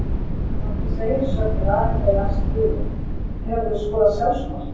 Að hans eigin sögn er Ari Freyr ansi duglegur Hefurðu skorað sjálfsmark?